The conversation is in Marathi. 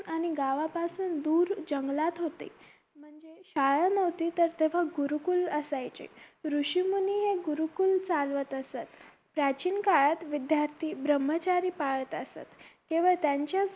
आणि गावा पासून दूर जंगलात होते म्हणजे शाळा नव्हती तर तेव्हा गुरूकूल असायचे वृषी मुनी हे गुरूकूल चालवत असत प्राचीन काळात विद्यार्थी ब्रम्हचारी पाळत असत तेव्हा त्यांच्याच